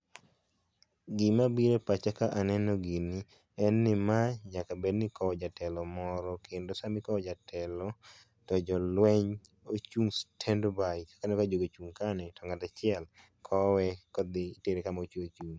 Gima bire pacha ka aneno gini en ni ma nyaka bed ni ikowo jatelo moro kendo sama ikowo jatelo to jolweny ochung' stand by kaka eneno jogi oacheng' kae ni to ng'at achiel kowe kodhi tere kama odhi chung'e.